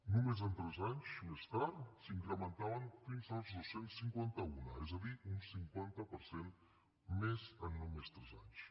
només tres anys més tard s’incrementaven fins als dos cents i cinquanta un és a dir un cinquanta per cent més en només tres anys